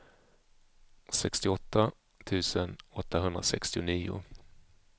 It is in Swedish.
sextioåtta tusen åttahundrasextionio